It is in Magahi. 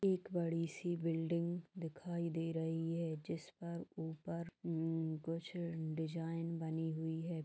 एक बड़ी सी बिल्डिंग दिखाई दे रही है जिस पर ऊपर उम्म कुछ डिज़ाइन बनी हुई है।